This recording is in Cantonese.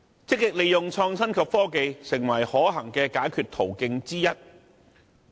積極利用創新及科技，誠為可行的解決途徑之一。